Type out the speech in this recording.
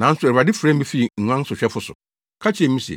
Nanso Awurade frɛɛ me fii nguan sohwɛ so, ka kyerɛɛ me se,